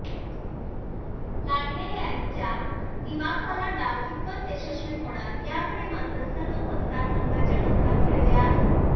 लांडगे यांचा दिमाखवाला डाव कितपत यशस्वी होणार याकडे मात्र सर्व मतदारसंघाच्या नजरा खिळल्या आहेत